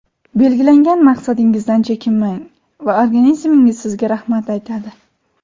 Belgilangan maqsadingizdan chekinmang va organizmingiz sizga rahmat aytadi!